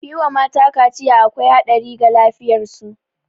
Yi wa mata kaciya akwai haɗari ga lafiyar su